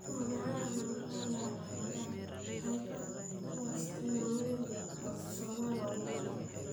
Waa maxay calaamadaha iyo calaamadaha hypercholesterolemia, autosomal ugu badan?